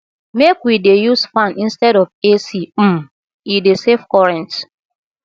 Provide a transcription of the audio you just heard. make we dey use fan instead of ac um e dey save current